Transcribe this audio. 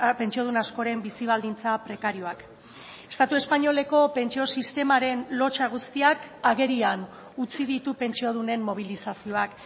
pentsiodun askoren bizi baldintza prekarioak estatu espainoleko pentsio sistemaren lotsa guztiak agerian utzi ditu pentsiodunen mobilizazioak